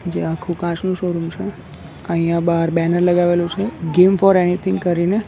જે આખુ કાચનું શોરૂમ છે અહીંયા બહાર બેનર લગાવેલું છે ગેમ ફોર એનીથિંગ કરીને.